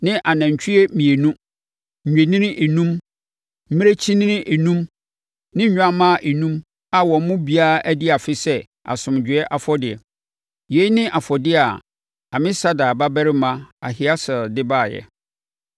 ne anantwie mmienu, nnwennini enum, mmirekyinini enum ne nnwammaa enum a wɔn mu biara adi afe sɛ asomdwoeɛ afɔdeɛ. Yei ne afɔdeɛ a Amisadai babarima Ahieser de baeɛ.